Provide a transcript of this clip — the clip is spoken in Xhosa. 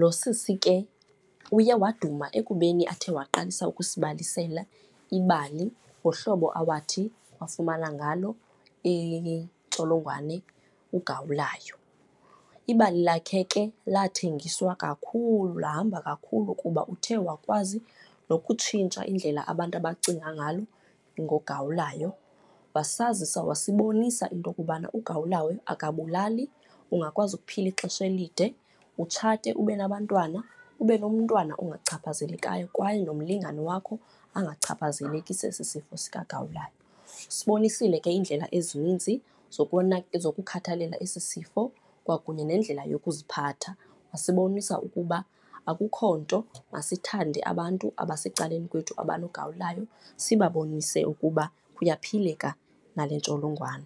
Lo sisi ke uye waduma ekubeni athe waqalisa ukusibalisela ibali ngohlobo awathi wafumana ngalo intsholongwane ugawulayo. Ibali lakhe ke lathengiswa kakhulu, lahamba kakhulu kuba uthe wakwazi nokutshintsha indlela abantu abacinga ngalo ngogawulayo. Wasazisa, wasibonisa into okubana ugawulayo akabulali, ungakwazi ukuphila ixesha elide, utshate ube nabantwana, ube nomntwana ongachaphazelekayo kwaye nomlingane wakho angachaphazeleki sesi sifo sikagawulayo. Usibonisele ke iindlela ezininzi zokukhathalela esi sifo kwakunye nendlela yokuziphatha. Wasibonisa ukuba akukho nto, masithande abantu abasecaleni kwethu abanogawulayo, sibabonise ukuba kuyaphileka nale ntsholongwane.